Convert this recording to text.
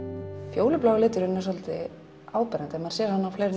fjólublái liturinn er svolítið áberandi maður sér á fleiri